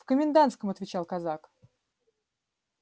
в комендантском отвечал казак